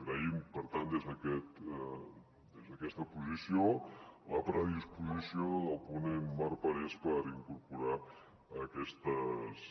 agraïm per tant des d’aquesta posició la predisposició del ponent marc parés per incorporar aquestes